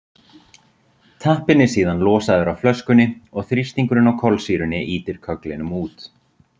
Tappinn er síðan losaður af flöskunni og þrýstingurinn á kolsýrunni ýtir kögglinum út.